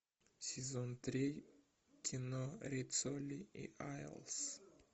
сезон три кино риццоли и айлс